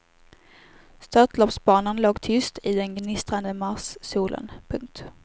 Störtloppsbanan låg tyst i den gnistrande marssolen. punkt